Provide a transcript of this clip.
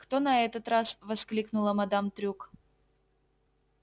кто на этот раз воскликнула мадам трюк